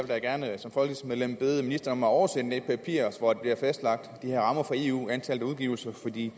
da gerne vil bede ministeren om at oversende det papir hvor der bliver fastlagt de her rammer fra eus antallet af udgivelser for i